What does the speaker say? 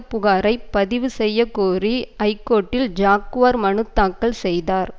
புகாரை பதிவு செய்யக்கோரி ஐகோர்ட்டில் ஜாக்குவார் மனு தாக்கல் செய்தார்